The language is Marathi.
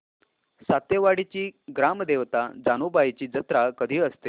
सातेवाडीची ग्राम देवता जानुबाईची जत्रा कधी असते